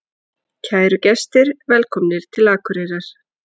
Kæru gestir! Velkomnir til Akureyrar.